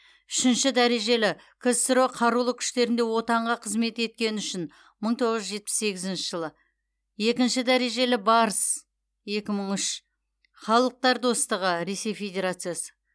үшінші дәрежелі ксро қарулы күштерінде отанға қызмет еткені үшін мың тоғыз жүз жетпіс сегізінші жылы екінші дәрежелі барыс екі мың үш халықтар достығы ресей федерациясы